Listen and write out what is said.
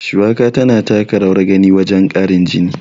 Shuwaka tana taka rawar gani wajen ƙarin jini.